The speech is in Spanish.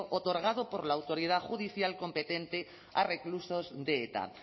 otorgado por la autoridad judicial competente a reclusos de eta